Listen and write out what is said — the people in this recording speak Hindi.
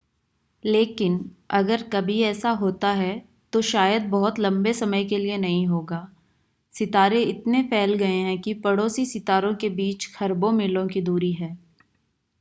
लेकिन अगर कभी ऐसा होता है तो शायद बहुत लंबे समय के लिए नहीं होगा सितारे इतने फैल गए हैं कि पड़ोसी सितारों के बीच खरबों मील की दूरी है